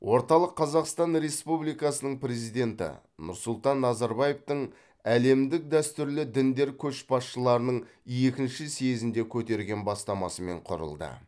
орталық қазақстан республикасының президенті нұрсұлтан назарбаевтың әлемдік дәстүрлі діндер көшбасшыларының екінші съезінде көтерген бастамасымен құрылды